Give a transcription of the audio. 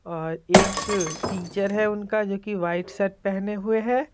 और एक टीचर है उनका जो कि वाइट शर्ट पहने हुए हैं।